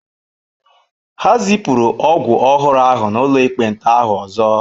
Ha zipụrụ ọgwụ ọhụrụ ahụ n'ụlọ ekpenta ahụ ọzọ.